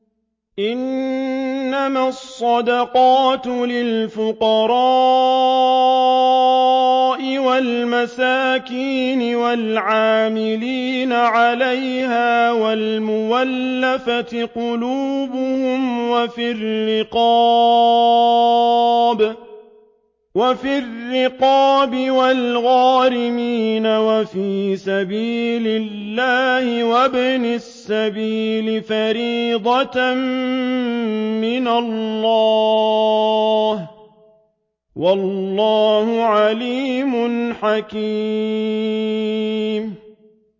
۞ إِنَّمَا الصَّدَقَاتُ لِلْفُقَرَاءِ وَالْمَسَاكِينِ وَالْعَامِلِينَ عَلَيْهَا وَالْمُؤَلَّفَةِ قُلُوبُهُمْ وَفِي الرِّقَابِ وَالْغَارِمِينَ وَفِي سَبِيلِ اللَّهِ وَابْنِ السَّبِيلِ ۖ فَرِيضَةً مِّنَ اللَّهِ ۗ وَاللَّهُ عَلِيمٌ حَكِيمٌ